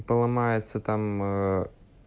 поломается там